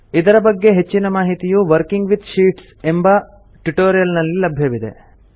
ಇದರ ಬಗ್ಗೆ ಹೆಚ್ಚಿನ ಮಾಹಿತಿಯು ವರ್ಕಿಂಗ್ ವಿತ್ ಶೀಟ್ಸ್ ಎಂಬ ಟ್ಯುಟೋರಿಯಲ್ ನಲ್ಲಿ ಲಭ್ಯವಿದೆ